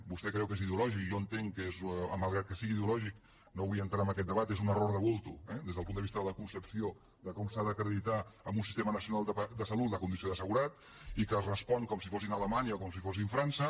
vostè creu que és ideològic jo entenc que és malgrat que sigui ideològic no vull entrar en aquest debat un error de bultoeh des del punt de vista de la concepció de com s’ha d’acreditar en un sistema nacional de salut la condició d’assegurat i que es respon com si fóssim alemanya o com si fóssim frança